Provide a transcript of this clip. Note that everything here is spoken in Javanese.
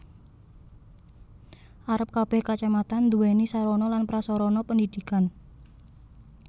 Arep kebeh Kacamatan duwéni sarana lan prasarana pendidikan